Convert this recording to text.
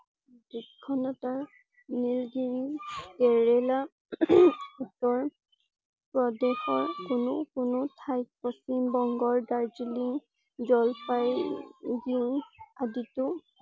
নীলগিৰি, কেৰেলা, উত্তৰপ্ৰদেশৰ কোনো কোনো ঠাইত পশ্চিম বংগৰ, দাৰ্জিলিং, জলপাইগুৰি আদিতো